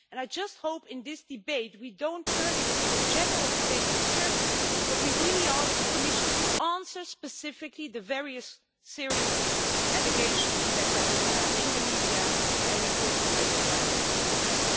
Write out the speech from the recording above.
I just hope that in this debate we don't turn it into a general debate on Turkey, but we ask the Commission to answer specifically the various serious allegations that are in the media and reported by human rights organisations.